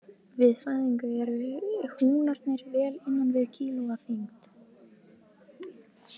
Við fæðingu eru húnarnir vel innan við kíló að þyngd.